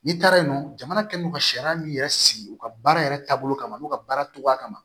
N'i taara yen nɔ jamana kɛlen don ka sariya min yɛrɛ sigi u ka baara yɛrɛ taabolo kama n'u ka baara togo kama